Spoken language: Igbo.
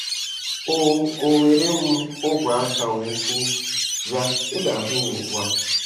O O were m ogwe aka wee sị, "Bịa, ị ga-ahụ ya ugbu a ."